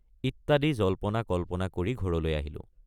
ইত্যাদি জল্পনাকল্পনা কৰি ঘৰলৈ আহিলোঁ।